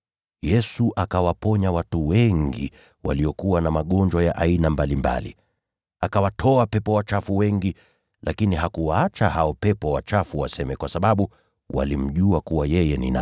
Yesu akawaponya watu wengi waliokuwa na magonjwa ya aina mbalimbali. Akawatoa pepo wachafu wengi, lakini hakuwaacha hao pepo wachafu waseme, kwa sababu walimjua yeye ni nani.